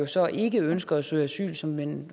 så ikke ønsker at søge asyl og som man